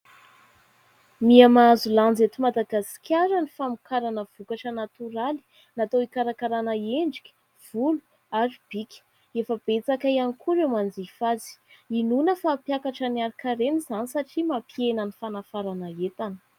Mihamahazo lanja eto Madagasikara ny famokarana vokatra natoraly natao hikarakarana endrika, volo ary bika ; efa betsaka ihany koa ireo manjifa azy. Hinoana fa mampiakatra ny ari-karena izany satria mampihena ny fanafarana entana.